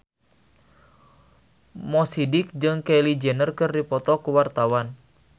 Mo Sidik jeung Kylie Jenner keur dipoto ku wartawan